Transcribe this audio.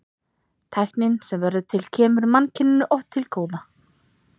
tæknin sem verður til kemur mannkyninu oft til góða